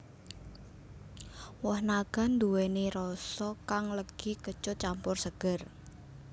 Woh naga nduwèni rasa kang legi kecut campur seger